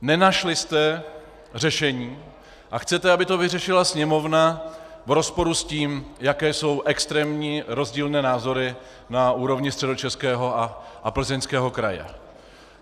Nenašli jste řešení a chcete, aby to vyřešila Sněmovna v rozporu s tím, jaké jsou extrémně rozdílné názory na úrovni Středočeského a Plzeňského kraje.